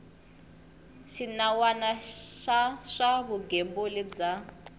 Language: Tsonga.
xinawana xa swa vugembuli bya